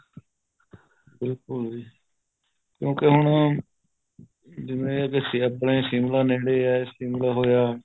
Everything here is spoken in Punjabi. ਬਿਲਕੁਲ ਜੀ ਕਿਉਂਕਿ ਹੁਣ ਜਿਵੇਂ ਕੇ ਆਪਣੇ ਸ਼ਿਮਲਾ ਹੋਇਆ ਸ਼ਿਮਲਾ ਨੇੜੇ ਹੈ